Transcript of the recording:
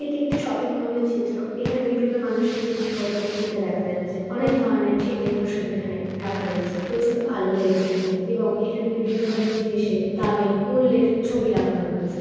এটি একটি শপিং মলের চিত্র এখানে বিভিন্ন মানুষকে জিনিসপত্র কিনতে দেখা যাচ্ছে অনেক ধরনের শীতের পোষাক এখানে রাখা রয়েছে প্রচুর আলো রয়েছে এখানে এবং এখানে বিভিন্ন ধরনের জিনিসের দামের মূল্যের ছবি লাগানো রয়েছে ।